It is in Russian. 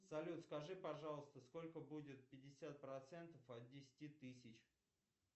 салют скажи пожалуйста сколько будет пятьдесят процентов от десяти тысяч